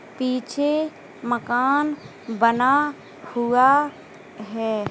पीछे मकान बना हुआ है।